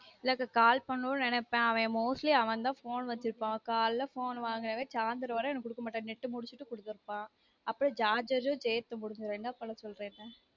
இல்ல அக்கா call பண்ணனும் நெனைப்பேன் அவன் mostly அவந்தான் phone வச்சுருப்பான் காலைல phone வாங்குறவன் சாய்ந்தரம் வர எனக்கு குடுக்கமாட்டான் net முடிச்சுட்டு குடுத்துருப்பான் அப்ப charger சேர்த்து முடிச்சுரும் என்ன பண்ண சொல்ற என்ன